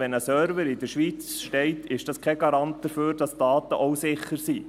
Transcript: Wenn ein Server in der Schweiz steht, ist das kein Garant dafür, dass die Daten auch sicher sind.